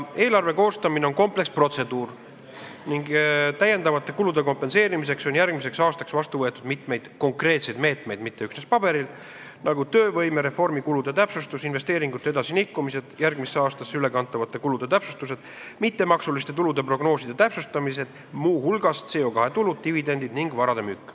Eelarve koostamine on kompleksne protseduur ning täiendavate kulude katmiseks on järgmiseks aastaks kavas mitmeid konkreetseid meetmeid – mitte üksnes paberil –, nagu töövõimereformi kulude täpsustamine, investeeringute edasilükkamine, järgmisse aastasse ülekantavate kulude täpsustamine, mittemaksuliste tulude prognooside täpsustamine, muu hulgas CO2 kvootidega seotud tulud, dividendid ning vara müük.